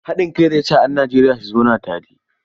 Haɗin kai zai sa 'yan Najeriya su zauna tare.